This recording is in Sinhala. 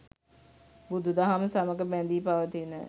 බුදුදහම සමග බැඳී පවතින